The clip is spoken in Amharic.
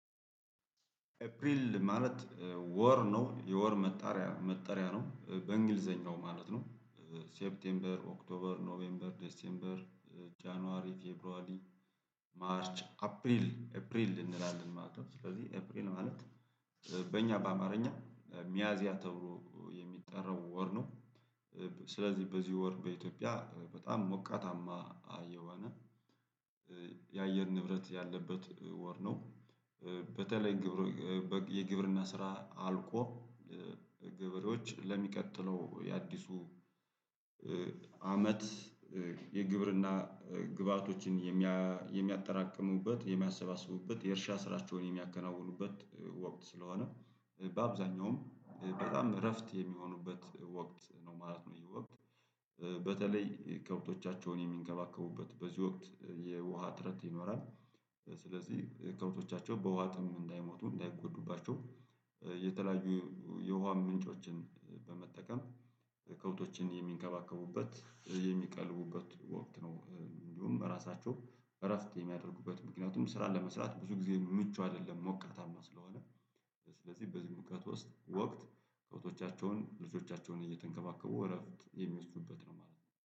ኤፕሪል ማለት ወር ነው የወር መጠሪያ መጠሪያ ነው በእንግሊዘኛው ማለት ነው። ሴፕቴምበር ኦክቶበር ኖቬምበር ደሴምበር ጃንዋሪ ፌብራር። ማርች አፕሪል አፕሪል እንላለን ማለት ነው። ስለዚህ አፕሪል ማለት በእኛ በአማርኛ ሚያዚያ ተብሎ የሚጠራው ወር ነው። ስለዚህ በዚህ ወር በኢትዮጵያ በጣም ሞቃታማ አየር የአየር ንብረት ያለበት ወር ነው። በተለይ ግብር የግብርና ስራ አልቆ ገበሬዎች ለሚቀጥለው የአዲሱ አመት የግብርና ግብአቶችን የሚያጠራቅሙበት የሚያሰባስቡበት የእርሻ ስራቸውን የሚያከናውኑበት ወቅት ስለሆነ በአብዛኛውም በጣም እረፍት የሚሆኑበት ወቅት ነው ማለት ነው። ይህ ወቅት በተለይ ከብቶቻቸውን የሚንከባከቡበት በዚህ ወቅት የውሃ እጥረት ይኖራል። ስለዚህ ከብቶቻቸው በውሃ ጥም እንዳይሞቱ እንዳይጎዱባቸው የተለያዩ የውሃ ምንጮችን በመጠቀም ከብቶችን የሚንከባከቡበት የሚቀልቡበት ወቅት ነው። እንዲሁም ራሳቸው እረፍት የሚያደርጉበት ምክንያቱም ስራ ለመስራት ብዙ ጊዜ ምቹ አይደለም ሞቃተማ ስለሆነ። ስለዚህ በዚህ ሙቀት ውስጥ ወቅት ከብቶቻቸውን ልጆቻቸውን እየተንከባከቡ እረፍት የሚወስዱበት ነው ማለት ነው